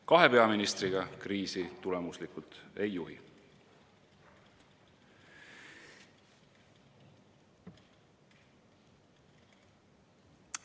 Kahe peaministriga kriisi tulemuslikult ei juhi.